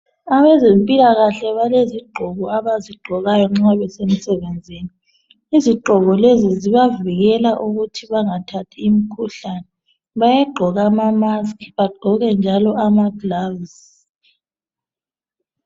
Abezempilakahle balezigqoko abazigqokayo nxa besemsebenzini. Izigqoko lezi zibavikela ukuthi bangathathi imikhuhlane. Bayagqoka ama maski baphinde njalo bagqoke ama gloves